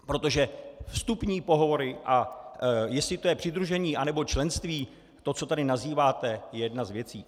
Protože vstupní pohovory, a jestli to je přidružení, anebo členství, to co tady nazýváte, je jedna z věcí.